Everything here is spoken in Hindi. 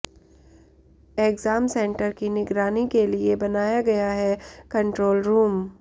एग्जाम सेंटर की निगरानी के लिए बनाया गया है कंट्रोल रूम